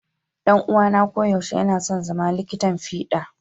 Dan'uwana koyaushe yana son zama likitan fiɗa.